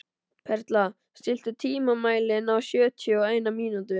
Perla, stilltu tímamælinn á sjötíu og eina mínútur.